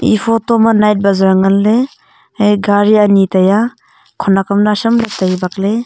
e photo ma night bazaar nganley hai gari ani taiya khona am nawsam ley tai bakley.